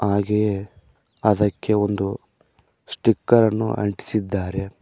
ಹಾಗೆಯೇ ಅದಕ್ಕೆ ಒಂದು ಸ್ಟಿಕರ್ ಅನ್ನು ಅಂಟಿಸಿದ್ದಾರೆ.